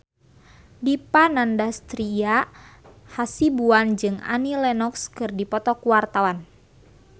Dipa Nandastyra Hasibuan jeung Annie Lenox keur dipoto ku wartawan